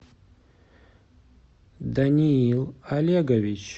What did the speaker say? даниил олегович